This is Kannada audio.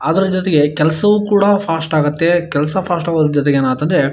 ಅದ್ರ ಜೊತೆಗೆ ಕೆಲಸವೂ ಕೂಡ ಫಾಸ್ಟ್ ಆಗುತ್ತೆ. ಕೆಲಸ ಫಾಸ್ಟ್ ಆಗುವುದರ ಜೊತೆಗೆ ಏನಾಗುತ್ತೆ--